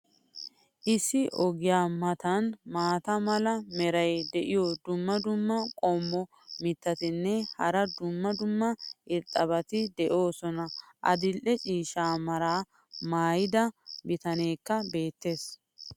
issi ogiya matan maata mala meray diyo dumma dumma qommo mitattinne hara dumma dumma irxxabati de'oosona. adil'e ciishsha meraa maayida bitaneekka beettees.